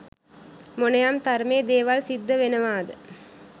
මොනයම් තරමේ දේවල් සිද්ධ වෙනවාද?